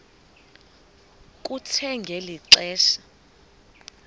kuthe ngeli xesha